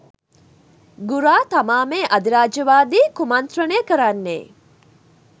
ගුරා තමා මේ අධිරාජ්‍යවාදී කුමණ්ත්‍රණය කරන්නේ.